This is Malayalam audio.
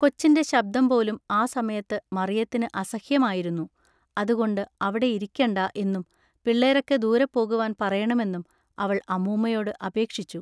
കൊച്ചിന്റെ ശബ്ദംപോലും ആ സമയത്തു മറിയത്തിനു അസഹ്യമായിരുന്നു അതുകൊണ്ടു അവിടെ ഇരിക്കെണ്ടാ എന്നും പിള്ളേരൊക്കെ ദൂരെപോകുവാൻ പറയേണമെന്നും അവൾ അമ്മൂമ്മയോടു അപേക്ഷിച്ചു.